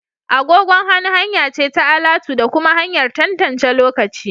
Agogon hannu hanya ce ta alatu da kuma hanyar tantance lokaci